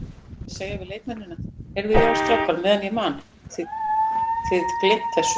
Á ég að segja við leikmennina, Heyrðu já strákar meðan ég man, þið gleymt þessu?